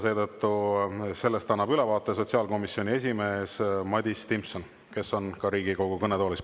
Sellest annab ülevaate sotsiaalkomisjoni esimees Madis Timpson, kes on ka Riigikogu kõnetoolis.